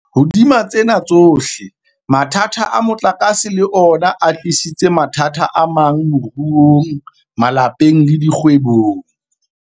Hodima tsena tsohle, mathata a motlakase le ona a tlisitse mathata amang moruong, malapeng le dikgwebong.